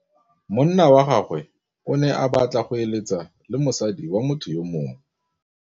Monna wa gagwe o ne a batla go êlêtsa le mosadi wa motho yo mongwe.